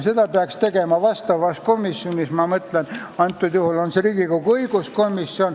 Seda peaks tegema vastavas komisjonis, antud juhul on see Riigikogu õiguskomisjon.